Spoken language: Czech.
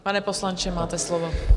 Pane poslanče, máte slovo.